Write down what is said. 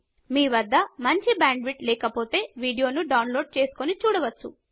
మీ వద్ద మంచి బ్యాండ్విడ్త్ లేకపోతే మీరు డౌన్లోడ్ చేసుకొని చూడవచ్చు